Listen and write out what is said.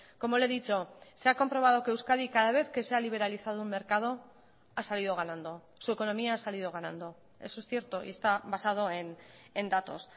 como le he dicho se ha comprobado que euskadi cada vez que se ha liberalizado un mercado ha salido ganando su economía ha salido ganando eso es cierto y está basado en datos